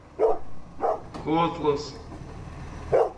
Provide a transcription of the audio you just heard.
котлас